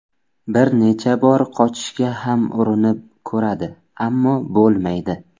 Bir necha bor qochishga ham urinib ko‘radi, ammo bo‘lmaydi.